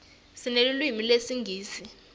sinelulwimi lesingisi